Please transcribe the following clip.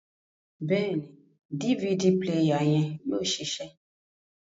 Bẹẹni, DVD player yẹn yóò ṣiṣẹ